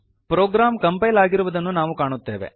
program compile ಆಗಿರುವುದನ್ನು ನಾವು ಕಾಣುತ್ತೇವೆ